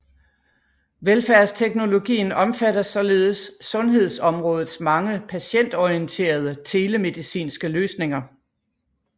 Velfærdsteknologien omfatter således sundhedsområdets mange patientorienterede telemedicinske løsninger